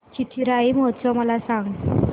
चिथिराई महोत्सव मला सांग